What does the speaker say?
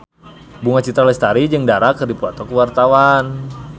Bunga Citra Lestari jeung Dara keur dipoto ku wartawan